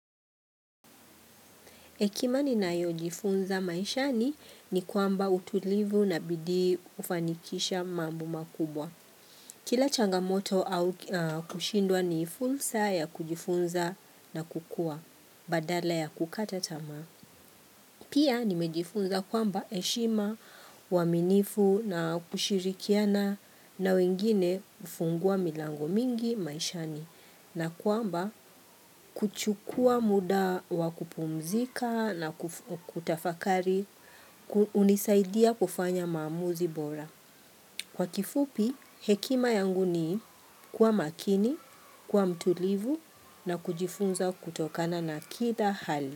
Hekima ninayo jifunza maishani ni kwamba utulivu na bidii ufanikisha mambo makubwa. Kila changamoto au kushindwa ni fursa ya kujifunza na kukua badala ya kukata tamaa. Pia nimejifunza kwamba heshima, uwaminifu na kushirikiana na wengine hufungua milango mingi maishani. Na kwamba kuchukua muda wa kupumzika na kutafakari hunisaidia kufanya maamuzi bora. Kwa kifupi, hekima yangu ni kuwa makini, kuwa mtulivu na kujifunza kutokana na kila hali.